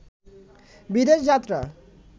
বিদেশ যাত্রা